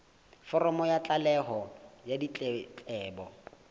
foromo ya tlaleho ya ditletlebo